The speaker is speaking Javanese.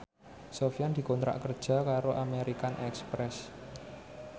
Sofyan dikontrak kerja karo American Express